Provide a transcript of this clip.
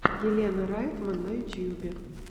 елена райтман на ютьюбе